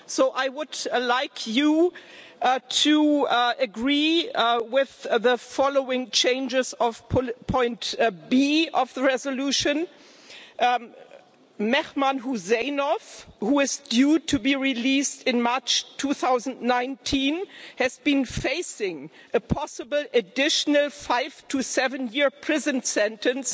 I would like you to agree with the following changes to Point B of the resolution Mehman Huseynov, who is due to be released in March 2019, has been facing a possible additional five to seven year prison sentence